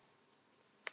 Þau sakna þín mikið.